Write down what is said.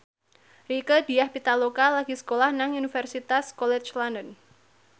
Rieke Diah Pitaloka lagi sekolah nang Universitas College London